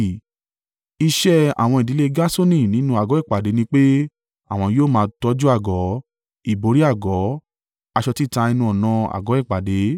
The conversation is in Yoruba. Iṣẹ́ àwọn ìdílé Gerṣoni nínú àgọ́ ìpàdé ni pé àwọn yóò máa tọ́jú àgọ́, ìbòrí àgọ́, aṣọ títa ẹnu-ọ̀nà àgọ́ ìpàdé,